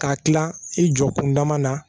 K'a kila i jɔ kunda ma na